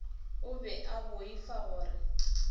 o be a boifa gore